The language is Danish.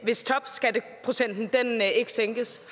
hvis topskatteprocenten ikke sænkes